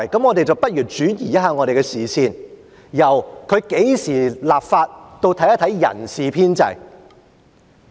我們不如轉移一下視線，由何時立法，轉為看一看人事編制。